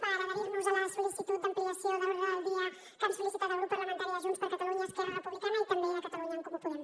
per adherir nos a la sol·licitud d’ampliació de l’ordre del dia que han sol·licitat el grup parlamentari de junts per catalunya esquerra republicana i també catalunya en comú podem